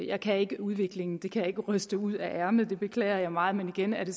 jeg kan ikke udviklingen det kan jeg ikke ryste ud af ærmet og det beklager jeg meget men igen er det